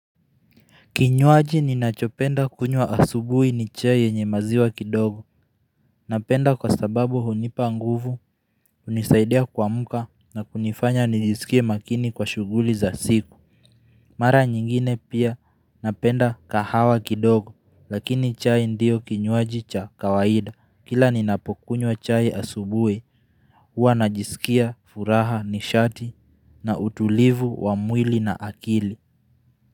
Kinywaji ninachopenda kunywa asubui ni chai yenye maziwa kidogo Napenda kwa sababu hunipa nguvu unizaidia kuamka na kunifanya nijisikie makini kwa shughuli za siku Mara nyingine pia napenda kahawa kidogo lakini chai ndio kinywaji cha kawaida Kila ninapokunywa chai asubui huwa najisikia furaha nishati na utulivu wa mwili na akili.